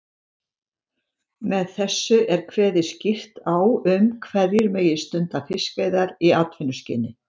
Með þessu er kveðið skýrt á um hverjir megi stunda fiskveiðar í atvinnuskyni.